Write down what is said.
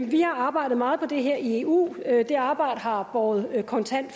vi har arbejdet meget på det her i eu det arbejde har båret kontant